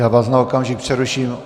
Já vás na okamžik přeruším.